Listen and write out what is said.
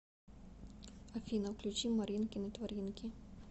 афина включи маринкины творинки